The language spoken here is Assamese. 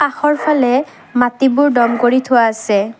কাষৰফালে মাটিবোৰ দম কৰি থোৱা আছে।